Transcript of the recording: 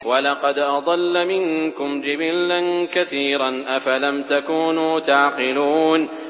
وَلَقَدْ أَضَلَّ مِنكُمْ جِبِلًّا كَثِيرًا ۖ أَفَلَمْ تَكُونُوا تَعْقِلُونَ